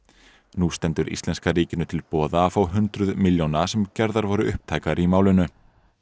nú stendur íslenska ríkinu til boða að fá hundruð milljóna sem gerðar voru upptækar í málinu